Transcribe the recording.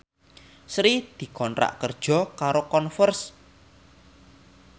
Sri dikontrak kerja karo Converse